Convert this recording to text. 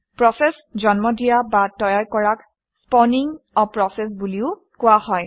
process জন্ম দিয়া বা তৈয়াৰ কৰাক স্পাউনিং a প্ৰচেছ বুলিও কোৱা হয়